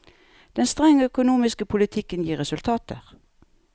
Den strenge økonomiske politikken gir resultater.